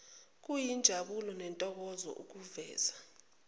kuyinjabulo nentokozo ukuveza